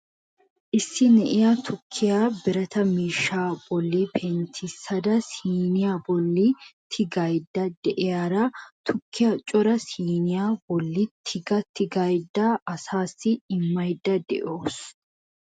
Issi na'iya tukkiya birata miishsha bolla penttisada siiniyaa bolli tigaydda de'iyaara tukkiya cora siniyaa bolli tiga tigadaasassi immaydda de'awus .